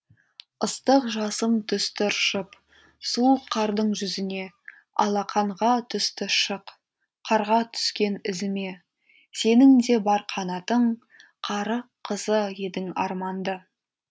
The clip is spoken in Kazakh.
ыстық жасым түсті ыршып суық қардың жүзіне алақанға түсті шық қарға түскен ізіме сенің де бар қанатың қара қызы едің арманды